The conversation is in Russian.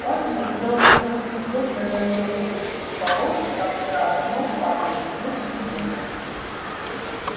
он глядел сквозь неплотно задёрнутый полог как за окном падает снег и думал